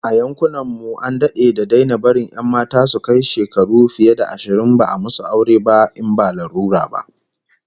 A yankunan mu an dade da daina barin 'yan mata su kai shekaru fiye da ashirin ba a musu aure ba in ba lalura ba